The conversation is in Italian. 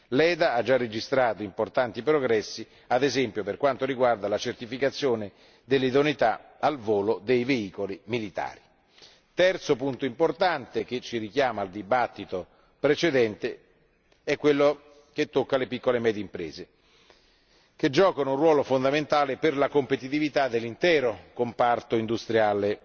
EDA ha già registrato importanti progressi, ad esempio per quanto riguarda la certificazione dell'idoneità al volo dei veicoli militari. Il terzo importante punto ci richiama alla discussione precedente perché riguarda le piccole e medie imprese, che giocano un ruolo fondamentale per la competitività dell'intero comparto industriale